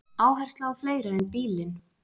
Áhersla á fleira en bílinn